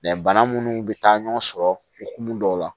bana munnu bɛ taa ɲɔgɔn sɔrɔ okumu dɔw la